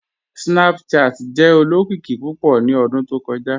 Snapchat jẹ olokiki pupọ̀ ni ọ̀dún tó kọja."